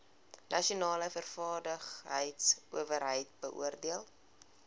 nasionale vaardigheidsowerheid beoordeel